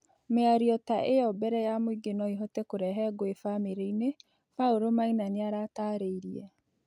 Mĩarĩo ta ĩyo mbere ya mũĩngĩ noĩhote kurehe ngũĩ bamĩrĩ- ĩnĩ" Paulo Maina nĩaratarĩirĩe